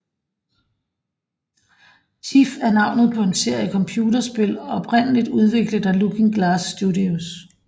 Thief er navnet på en serie computerspil oprindeligt udviklet af Looking Glass Studios